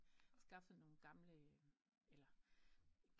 Skaffet nogen gamle eller